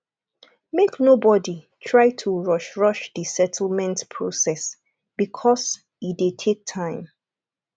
make nobody try to rush rush di settlement process because e dey take time